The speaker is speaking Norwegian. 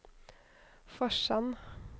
Forsand